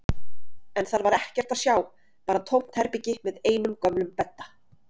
En þar var ekkert að sjá, bara tómt herbergi með einum gömlum bedda.